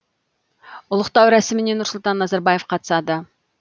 ұлықтау рәсіміне нұрсұлтан назарбаев қатысады